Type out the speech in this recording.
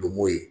Donmo ye